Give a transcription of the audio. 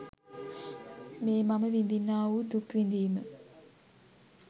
මේ මම විඳින්නා වූ දුක් විඳීම